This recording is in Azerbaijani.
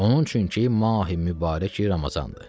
Onun üçün ki, Mahi Mübarək Ramazandır.